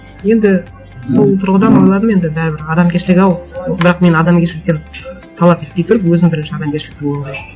енді сол тұрғыдан ойладым енді бәрібір адамгершілік ау бірақ мен адамгершіліктен талап етпей тұрып өзім бірінші адамгершілікті болып алайын